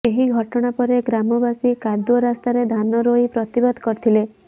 ଏହି ଘଟଣା ପରେ ଗ୍ରାମବାସୀ କାଦୁଅ ରାସ୍ତାରେ ଧାନ ରୋଇ ପ୍ରତିବାଦ କରିଥିଲେ